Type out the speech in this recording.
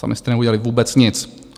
Sami jste neudělali vůbec nic.